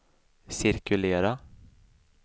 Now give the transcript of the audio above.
cirkulera